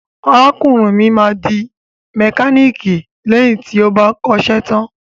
Arákùnrin bàbá mi máa di mẹkáníìkì lẹ́yìn tí ó bá kọ́ṣẹ́ tán.